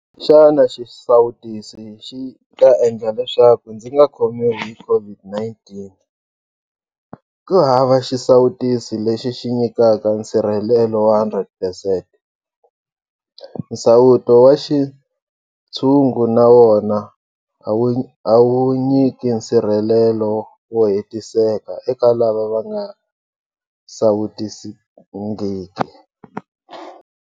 Xana xisawutisi xi ta endla leswaku ndzi nga khomiwi hi COVID-19? Kuhava xisawutisi lexi xi nyikaka nsirhelelo wa 100 percent. Nsawuto wa xintshungu na wona a wu nyiki nsirhelelo wo hetiseka eka lava va nga sawutisiwangiki.